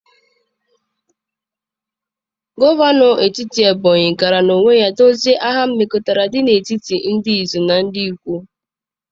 Gọvanọ steeti Ebony gara n'onwe ya dozie agha mmekọrịta dị n'etiti ndị Izi na ndị Ikwo.